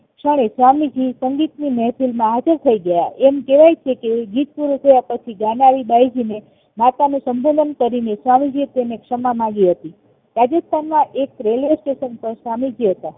તેજ ક્ષણે સ્વામીજી સંગીત ની મહેફિલ માં હાજર થાય ગયા એમ કેવાય છે કે ગીત પૂરું થયા પછી ગાનારી બાયજીને માતાનું સંબોધન કરીને સ્વામીએ તેની ક્ષમા માંગી હતી રાજસ્થાન ના એક રેલવે સ્ટેશન પર સાનિધ્ય હતા